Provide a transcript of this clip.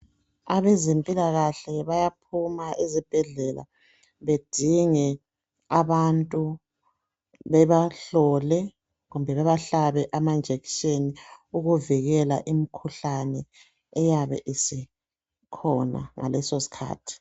Abazempilakahle bayaphuma ezibhedlela bedinge abantu bebahlole, kumbe babahlabe emajekiseni okuvikela imkhuhlane ebaya isikhona ngaleso skhathi.